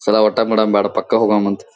E ಸಲ ಊಟ ಮಾಡದಬೇಡ ಪಕ್ಕ ಹೋಗಣ ಹೋಗಮ್ಮನಂತ.